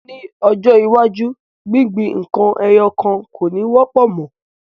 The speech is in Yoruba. Ni ọjọ́ iwájú gbingbin nkan ẹyọ kan ko ni wọ́pọ̀ mo.